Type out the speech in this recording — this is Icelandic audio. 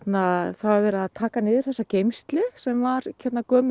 það var verið að taka niður þessa geymslu sem var gömul